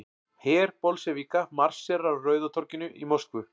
Her Bolsévíka marserar á Rauða torginu í Moskvu.